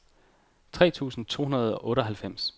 tre tusind to hundrede og otteoghalvfems